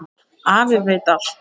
Afi veit allt.